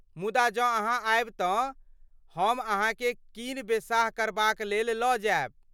मुदा जँ अहाँ आयब तँ हम अहाँकेँ कीन बेसाह करबाक लेल लऽ जायब।